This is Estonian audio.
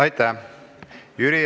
Aitäh!